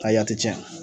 Ka tiɲɛ